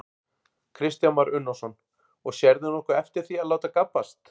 Kristján Már Unnarsson: Og sérðu nokkuð eftir því að láta gabbast?